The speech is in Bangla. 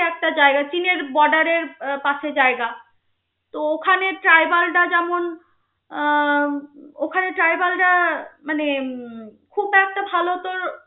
একটা জায়গা চীনের border এর পাশে জায়গা তো ওখানের tribal রা যেমন আহ ওখানে tribal মানে উম